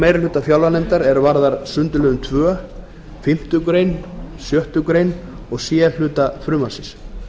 meirihluta fjárlaganefndar er varðar sundurliðun tveir fimmtu grein sjöttu greinar og c hluta frumvarpsins